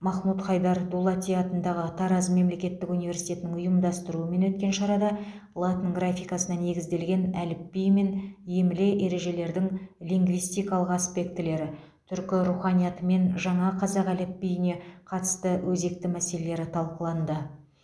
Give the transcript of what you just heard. махмуд хайдар дулати атындағы тараз мемлекеттік университетінің ұйымдастыруымен өткен шарада латын графикасына негізделген әліпби мен емле ережелердің лингвистикалық аспектілері түркі руханиятымен жаңа қазақ әліпбиіне қатысты өзекті мәселелері талқыланды